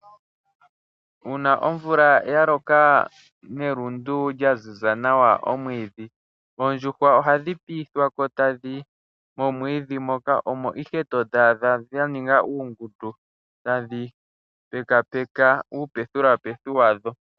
Uuna omvula ya loka nelundu lya lunda nawa oondjuhwa ohadhi tudhwapo tadhiyi momwiidhi moka omo tadhi kala dha ninga uungundu tadhi pekapeka